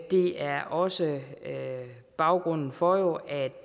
det er også baggrunden for at